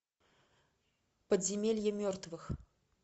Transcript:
подземелье мертвых